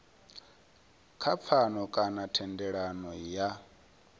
kha pfano kana thendelano ya